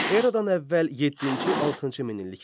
Eradan əvvəl 7-ci, 6-cı minilliklər.